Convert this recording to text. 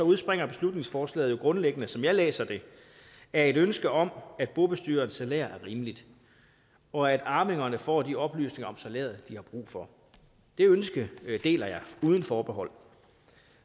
udspringer beslutningsforslaget jo grundlæggende som jeg læser det af et ønske om at bobestyrerens salær er rimeligt og at arvingerne får de oplysninger om salæret de har brug for det ønske deler jeg uden forbehold